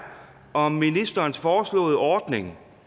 om ministerens foreslåede ordning